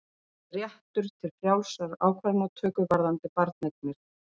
Réttur til frjálsrar ákvarðanatöku varðandi barneignir